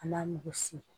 A n'a mugusi